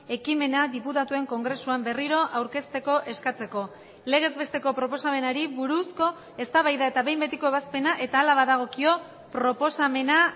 ekimena diputatuen kongresuan berriro aurkezteko eskatzeko legez besteko proposamenari buruzko eztabaida eta behin betiko ebazpena eta hala badagokio proposamena